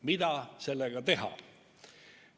Mida sellega teha?